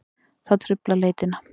Það truflar leitina.